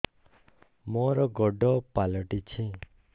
ମୋର ଗୋଡ଼ ପାଲଟିଛି